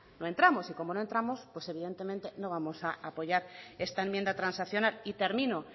no entramos y como no entramos pues evidentemente no vamos a apoyar esta enmienda transaccional y termino